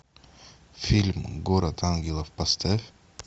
фильм город ангелов поставь